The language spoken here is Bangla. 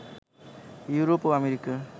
ইওরোপ ও আমেরিকার